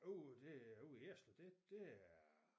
Jo det ude i Ejerslev det det er